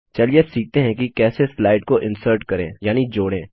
चलिए अब सीखते हैं कि कैसे स्लाइड को इन्सर्ट करें यानि जोड़ें